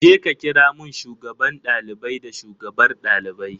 Jeka kira mun shugaban ɗalibai da shugabar ɗalibai.